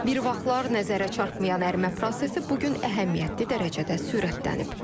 Bir vaxtlar nəzərə çarpmayan ərimə prosesi bu gün əhəmiyyətli dərəcədə sürətlənib.